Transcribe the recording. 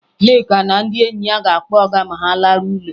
Nneka na ndị enyi ya ga-akpọ ọga ma ha laruo ụlọ